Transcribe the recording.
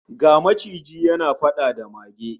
Ga maciji yana fada da mage